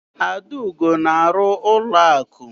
Adaugo na-arụ n'ụlọakụ.